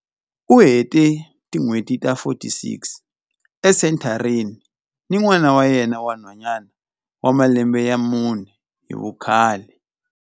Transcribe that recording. U hete tin'hweti ta 46 esenthareni ni n'wana wa yena wa nhwanyana wa malembe ya mune hi vukhale.